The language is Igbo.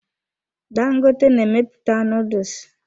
Dangote na-emepụta nuduls.